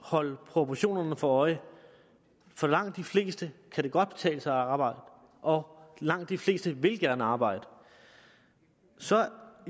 holde proportionerne for øje for langt de fleste kan det godt betale sig at arbejde og langt de fleste vil gerne arbejde så